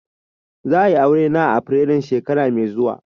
Za'a yi Aure na a afirairun shekara mai zuwa.